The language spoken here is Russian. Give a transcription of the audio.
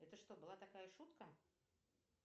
это что была такая шутка